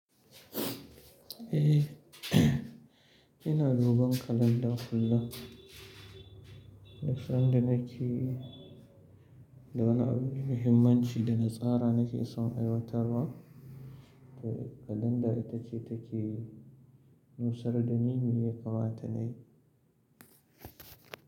Eh, ina dogon kalanda kullum. Na san da nake, da wani abu muhimmanci da na tsara nake son aiwatarwa. Da kalanda ita ce take nusar da ni me ya kamata nayi.